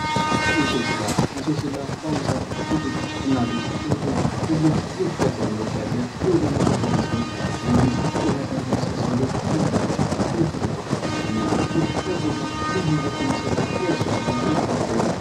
እንሶስላ እንሶስላ በአሁኑ ሰዓት ሴቶች እናቶች እህቶች ሁሉም እየተጠቀሙበት ያለ የውበት መጠበቂያ ሲሆን በተለይም ቆዳን ለማለስለስ ብለው ሴቶቻችን እየተጠቀሙበት ይገኛል ።ይህ ለቆዳ ልዩ ውበትን የሚሰጥ የእንሶስላ የተፈጥሮ ነው።